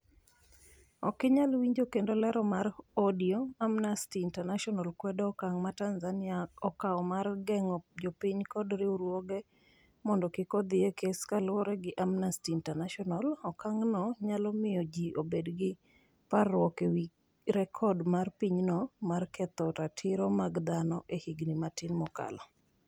Okinyal winjo kendo lero mar audio, Amnesty International kwedo okang' ma Tanzania okawo mar geng'o jopiny kod riwruoge mondo kik odhi e kes Kaluwore gi Amnesty International, okang' no nyalo miyo ji obed gi parruok ewi rekod mar pinyno mar ketho ratiro mag dhano e higni matin mokalo.